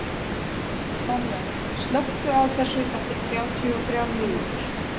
Manuel, slökktu á þessu eftir þrjátíu og þrjár mínútur.